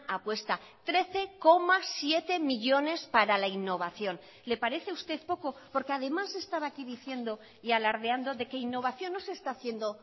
apuesta trece coma siete millónes para la innovación le parece a usted poco porque además estaba aquí diciendo y alardeando de que innovación no se está haciendo